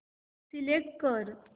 select कर